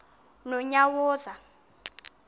nonyawoza